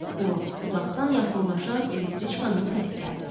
Bu vaxt uzaqdan yaxınlaşan elektriçkanın səsi gəldi.